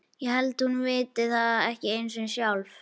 Ég held að hann viti það ekki einu sinni sjálfur.